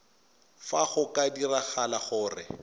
fa go ka diragala gore